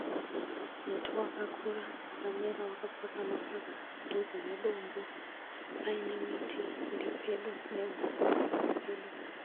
Muti wakakura wakamera wakapakama padhuze nedombo. Paine miti iripedo nehuswa huripedo